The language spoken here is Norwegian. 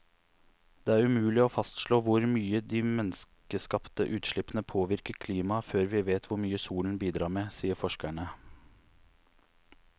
Det er umulig å fastslå hvor mye de menneskeskapte utslippene påvirker klimaet før vi vet hvor mye solen bidrar med, sier forskerne.